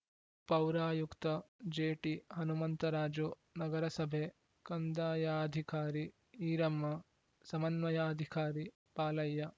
ಪೌರಾಯುಕ್ತ ಜೆಟಿಹನುಮಂತರಾಜು ನಗರಸಭೆ ಕಂದಾಯಾಧಿಕಾರಿ ಈರಮ್ಮ ಸಮನ್ವಯಾಧಿಕಾರಿ ಪಾಲಯ್ಯ